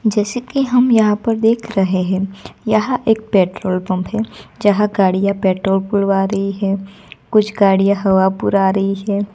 जैसे कि हम यहां पर देख रहे हैं यह एक पेट्रोल पंप है। जहां गाड़ियां पेट्रोल भरवा रही है कुछ गाड़ियां हवा पुरा रही है।